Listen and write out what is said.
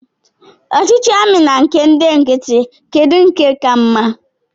Ọchịchị ndị amị na nke ndị nkịtị, kedụ nke ka mma?